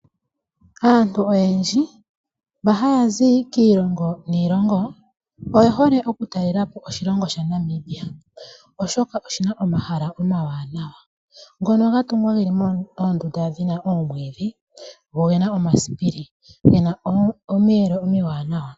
Aantu oyendji mba haya zi kiilongo niilongo oye hole okutalelapo oshilongo shaNamibia oshoka oshina omahala omawanawa ngoka ga tungwa ge na omwiidhi, oge na omasipili, noge na omiyelo omiwanawa.